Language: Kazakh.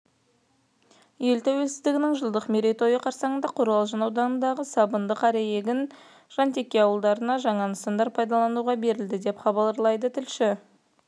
ел тәуелсіздігінің жылдық мерейтойы қарсаңында қорғалжын ауданындағы сабынды қараегін және жантеке ауылдарында жаңа нысандар пайдалануға берілді деп хабарлайды тілшісі